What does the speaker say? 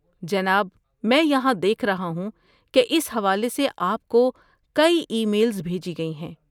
جناب، میں یہاں دیکھ رہا ہوں کہ اس حوالے سے آپ کو کئی ای میلز بھیجی گئی ہیں۔